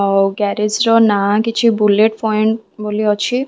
ଅ ଗ୍ୟାରେଜ୍‌ ର ନାଁ କିଛି ବୁଲେଟ୍‌ ପଏଣ୍ଟ ବୋଲି ଅଛି ।